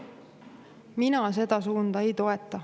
Mina seda suunda ei toeta.